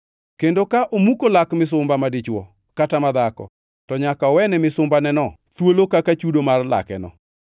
Kendo ka omuko lak misumba madichwo kata madhako, to nyaka owene misumbaneno thuolo kaka chudo mar lakeno.